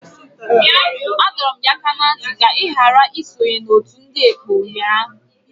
Adọrum gi aka na nti ka i ghara isonye n'otu ndi ekpo unyanya!